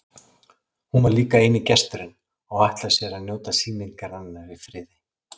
Hún var líka eini gesturinn og ætlaði sér að njóta sýningarinnar í friði.